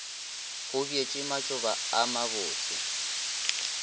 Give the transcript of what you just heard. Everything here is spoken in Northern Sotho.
go bjetšwe matšoba a mabotse